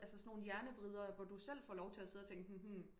Altså sådan nogle hjernevridere hvor du selv får lov til at tænke